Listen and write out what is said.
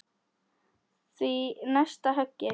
Því næst höggið.